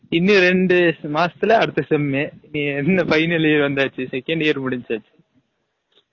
இன்னும் ரெண்டு மாசதுல அடுத்த sem என்ன final year வந்தாச்சு second year முடிசாசு